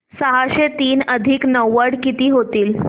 सहाशे तीन अधिक नव्वद किती होतील